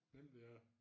Den dér